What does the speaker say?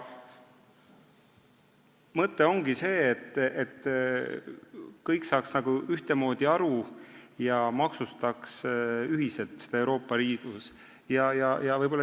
Mõte on see, et kõik saaksid ühtemoodi aru ja maksustaksid seda Euroopa Liidus ühiselt.